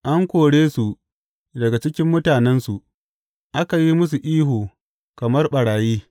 An kore su daga cikin mutanensu, aka yi musu ihu kamar ɓarayi.